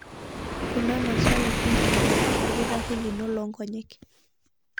Kuna maswali ninkilikuan olkitarri lino loonkonyek.